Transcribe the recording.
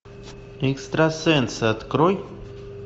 экстрасенсы открой